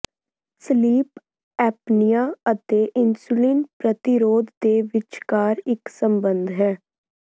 sleep apnea ਅਤੇ insulin ਪ੍ਰਤੀਰੋਧ ਦੇ ਵਿਚਕਾਰ ਇੱਕ ਸੰਬੰਧ ਹੈ